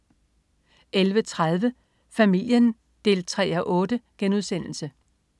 11.30 Familien 3:8*